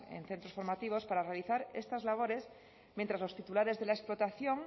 en centros formativos para realizar estas labores mientras los titulares de la explotación